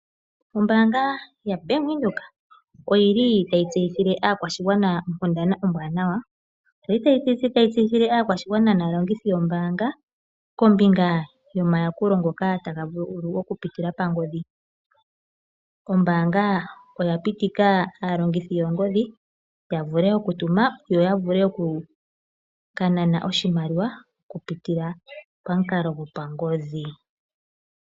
Ombaanga yaBank Windhoek otayi tseyithile aakwashigwana onkundana ombwanawa. Otayi tseyithile aakwashigwana naalongithi yombaanga kombinga yomayakulo ngoka taga vulu okupitila pangodhi. Ombaanga oya pitika aalongithi yoongodhi ya vule okutuma yo ya vule oku ka nana oshimaliwa okupitila pamukalo gopagodhi.